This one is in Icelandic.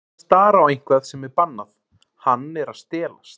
Honum finnst hann vera að stara á eitthvað sem er bannað, hann er að stelast.